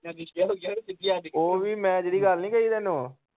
ਓਹ ਵੀ ਮੈਂ ਜਿਹੜੀ ਗੱਲ ਨੀ ਕਹੀ ਤੈਨੂੰ।